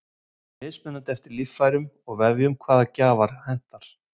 Það er mismunandi eftir líffærum og vefjum hvaða gjafar henta.